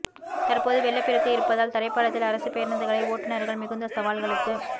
தற்போது வெள்ளப்பெருக்கு இருப்பதால் தரைப்பாலத்தில் அரசுப் பேருந்துகளை ஓட்டுநா்கள் மிகுந்த சவால்களுக்கு